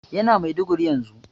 Yana Maiduguri yanzu.